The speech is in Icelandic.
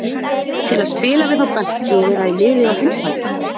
Til að spila við þá bestu og vera í liði á heimsmælikvarða.